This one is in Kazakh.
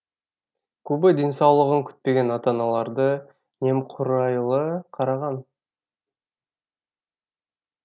көбі денсаулығын күтпеген ата аналары немқұрайлы қараған